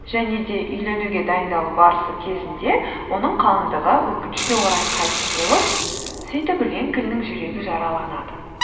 және де үйленуге дайындалу барысы кезінде оның қалыңдығы өкінішке орай қайтыс болып сөйтіп линкольннің жүрегі жараланады